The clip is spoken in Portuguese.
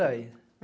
Por aí.